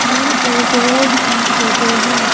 ये एक रोड की फोटो है ।